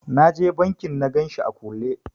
Na je bankin na ganshi a kulle.